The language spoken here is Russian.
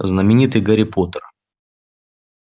знаменитый гарри поттер